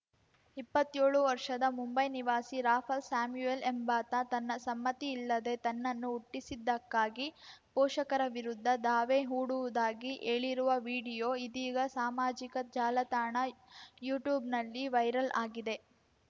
ಇಪ್ಪತ್ತೇಳು ವರ್ಷದ ಮುಂಬೈ ನಿವಾಸಿ ರಾಫಾಲ್‌ ಸ್ಯಾಮ್ಯುಯೆಲ್‌ ಎಂಬಾತ ತನ್ನ ಸಮ್ಮತಿ ಇಲ್ಲದೇ ತನ್ನನ್ನು ಹುಟ್ಟಿಸಿದ್ದಕ್ಕಾಗಿ ಪೋಷಕರ ವಿರುದ್ಧ ದಾವೆ ಹೂಡುವುದಾಗಿ ಹೇಳಿರುವ ವಿಡಿಯೋ ಇದೀಗ ಸಾಮಾಜಿಕ ಜಾಲತಾಣ ಯುಟ್ಯೂಬ್‌ನಲ್ಲಿ ವೈರಲ್‌ ಆಗಿದೆ